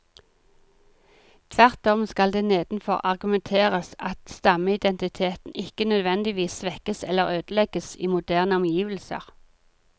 Tvert om skal det nedenfor argumenteres at stammeidentiteten ikke nødvendigvis svekkes eller ødelegges i moderne omgivelser.